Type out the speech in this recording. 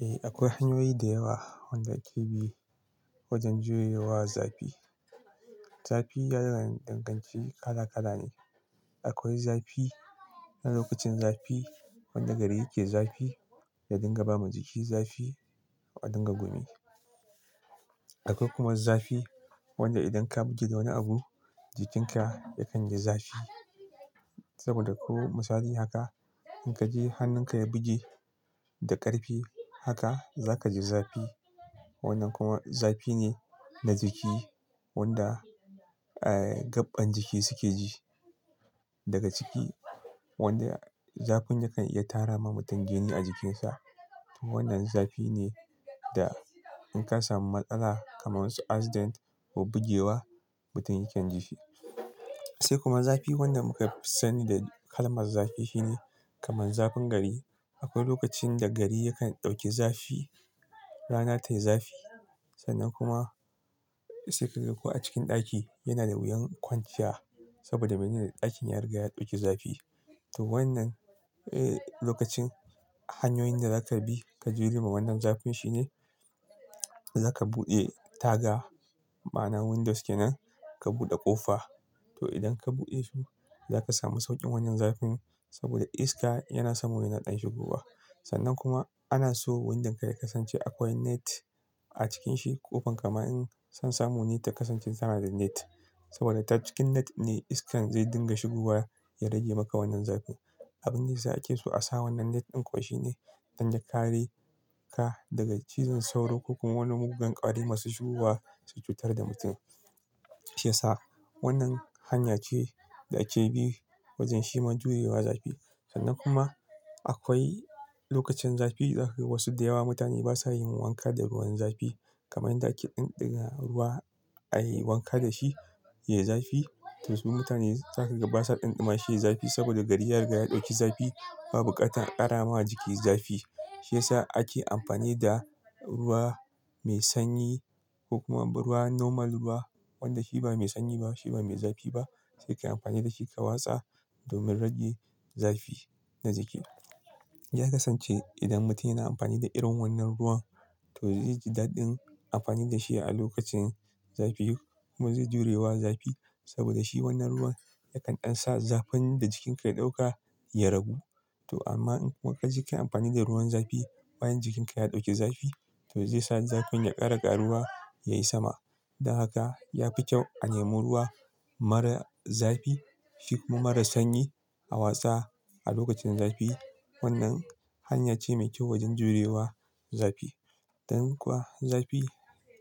Eh, akwai hanyoyi da yawa wanda ake bi wajen jure wa zafi. Zafi ya danganci kala kala ne. Akwai zafi na lokacin zafi wanda gari yake zafi da dinga ba ma jiki zafi, a dinga gumi. Akwai kuma zafi wanda idan ka buge da wani abu jikinka ya kan ji zafi. Saboda ko misali haka in ka je hannunka ya buge da ƙarfi haka za ka ji zafi. Wannan kuma zafi ne na jiki wanda, gaɓɓan jiki suke ji daga ciki. Wanda zafin yakan iya tara ma mutum jini a jikinsa. To wannan zafi ne da in ka samu matsala kamar su accident ko bugewa mutum yake ji shi. Sai kuma zafi wanda muka fi sani da kalmar zafi shine kamar zafin gari. Akwai lokacin da gari ya kan ɗauki zafi, rana tayi zafi. Sannan kuma sai ka ga ko a cikin ɗaki yana da wuyan kwanciya saboda ɗakin ya riga ya ɗauki zafi. To wannan lokacin hanyoyin da zaka bi ka jure ma wannan zafin shi ne zaka buɗe taga. Ma'ana windows ke nan ka buɗe ƙofa. To idan ka buɗe shi zaka samu sauƙin wannan zafin saboda iska yana samo yana ɗan shigowa. Sannan kuma ana so windon ka ya kasance akwai net a cikin shi. Ƙofar ka ma in san samu ta kasance tana da net, saboda ta cikin net ne iskan zai dinga shigowa ya rage maka wannan zafi. Abinda ya sa ake so a sa wannan net ɗin kuwa shine don ya kare ka daga cizon sauro ko kuma wani muggan ƙwari masu shigowa su cutar da mutum. Shi ya sa wannan hanya ce da ake bi wajen shirin jurewa zafi. Sannan kuma akwai lokacin zafi zakaga wasu da yawa mutane basa yin wanka da ruwan zafi. Kamar yanda ɗumama ruwa ayi wanka da shi ya yi zafi. To su mutane zaka ga basa ɗumama shi ya yi zafi saboda gari ya riga ya ɗauki zafi. Ba bukatar a ƙara ma jiki zafi. Shi ya sa ake amfani da ruwa mai sanyi ko kuma ba ruwa normal ruwa wanda shi ba mai sanyi ba shi ba mai zafi ba sai ka yi amfani da shi ka watsa domin rage zafi na jiki. Ya kasance idan mutum yana amfani da irin wannan ruwan to zai ji daɗin amfani da shi a lokacin zafi kuma zai jure wa zafi. Saboda shi wannan ruwan yakan sa zafin da jikinka ya ɗauka ya ragu. To amma in kuma ka ji kai amfani da ruwan zafi bayan jikin ka ya ɗauki zafi to zai sa zafin ya ƙara ƙaruwa yayi sama. Don haka ya fi kyau a nemi ruwa mara zafi shi kuma mara sanyi a watsa a lokacin zafi. Wannan hanya ce mai kyau wajen jure wa zafi. Don kuwa zafi